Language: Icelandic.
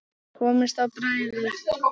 Komist á bragðið